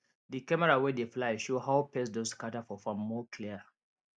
di camera wey dey fly show how pest don scatter for farm more clear